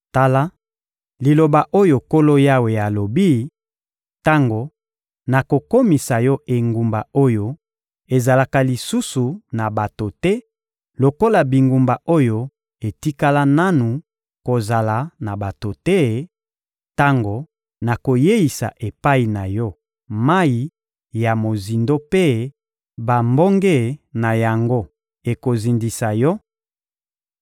Tala liloba oyo Nkolo Yawe alobi: Tango nakokomisa yo engumba oyo ezalaka lisusu na bato te lokola bingumba oyo etikala nanu kozala na bato te, tango nakoyeisa epai na yo mayi ya mozindo mpe bambonge na yango ekozindisa yo,